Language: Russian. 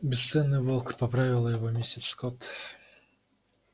бесценный волк поправила его миссис скотт